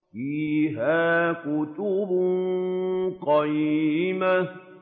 فِيهَا كُتُبٌ قَيِّمَةٌ